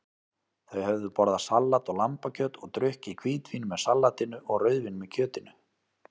Þau höfðu borðað salat og lambakjöt og drukkið hvítvín með salatinu og rauðvín með kjötinu.